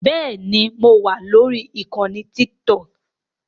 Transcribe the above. Bẹ́ẹ̀ni mo wà lórí ìkànnì Tiktok